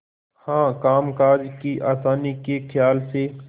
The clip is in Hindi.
हाँ कामकाज की आसानी के खयाल से